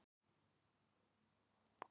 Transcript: Geirfinnur